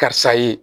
Karisa ye